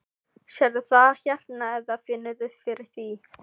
Gregor, hvaða leikir eru í kvöld?